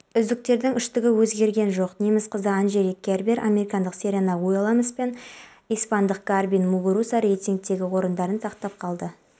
қоғамның кері пікірін қолжетімді сапалы қызмет көрсететін мемлекетке өзгертуге тырысамыз аталған іс-шара бір рет қана